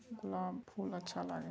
गुलाब फूल अच्छा लागे --